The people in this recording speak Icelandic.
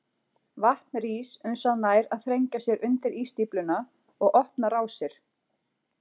Vatn rís uns það nær að þrengja sér undir ísstífluna og opna rásir.